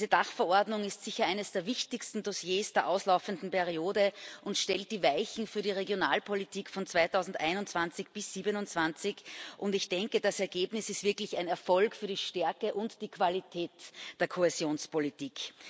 Diese Dachverordnung ist sicher eines der wichtigsten Dossiers der auslaufenden Periode und stellt die Weichen für die Regionalpolitik von 2021 bis 2027. Ich denke, das Ergebnis ist wirklich ein Erfolg für die Stärke und die Qualität der Kohäsionspolitik.